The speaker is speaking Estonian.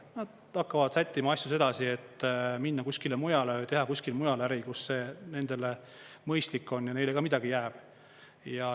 Nad hakkavad sättima asju sedasi, et minna kuskile mujale või teha kuskil mujal äri, kus see nendele mõistlik on ja neile ka midagi jääb.